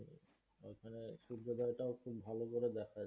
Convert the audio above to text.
সূর্যোদয় টা ও খুব ভালো করে দেখা যায়।